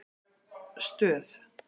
Stöð